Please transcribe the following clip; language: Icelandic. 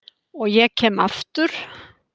Og ég kem aftur.